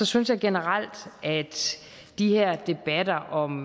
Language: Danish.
synes jeg generelt at de her debatter om